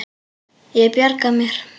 Ég bjarga mér.